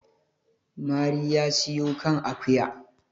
mari ya siyo kan akuya